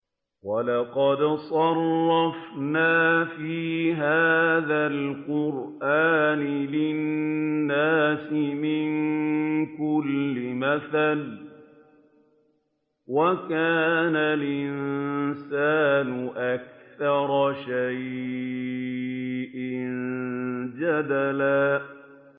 وَلَقَدْ صَرَّفْنَا فِي هَٰذَا الْقُرْآنِ لِلنَّاسِ مِن كُلِّ مَثَلٍ ۚ وَكَانَ الْإِنسَانُ أَكْثَرَ شَيْءٍ جَدَلًا